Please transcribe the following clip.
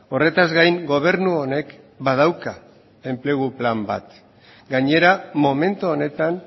horretaz gain gobernu honek badauka enplegu plan bat gainera momentu honetan